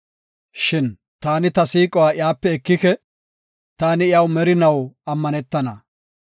Shin taani ta siiquwa iyape ekike; taani iyaw merinaw ammanetana.